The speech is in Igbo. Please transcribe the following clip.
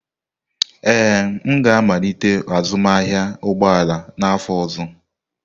Ee, m ga-amalite azụmahịa ụgbọ ala n'afọ ọzọ.